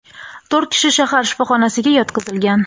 to‘rt kishi shahar shifoxonasiga yotqizilgan.